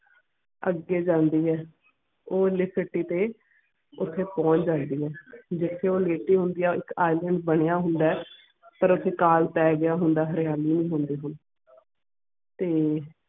ਅਗੇ ਜਾਂਦੀ ਹੈ ਉਹ ਲੈਕਤੀ ਤੇ ਓਥੇ ਪੋਂਛ ਜਾਂਦੀ ਹੈ ਜਿਥੇ ਉਹ ਲੈਤੀ ਹੋਂਦਿਆ ਉਹ ਇਕ ਇਸਲੈਂਡ ਬਣਿਆ ਹੋਂਦ ਪਾਰ ਓਥੇ ਕਾਲ ਪੈ ਗਿਆ ਹੋਂਦ ਹਰਿਆਲੀ ਨਾਈ ਹੋਂਦੀ ਤੇ.